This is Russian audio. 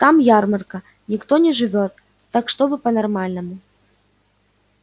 там ярмарка никто не живёт так чтобы по-нормальному